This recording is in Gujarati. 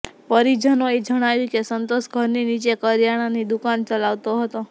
પરિજનોએ જણાવ્યું કે સંતોષ ઘર નીચે કરિયાણાની દુકાન ચલાવતો હતો